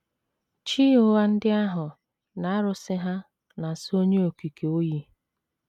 Chi ụgha ndị ahụ na arụsị ha na - asọ Onye Okike oyi.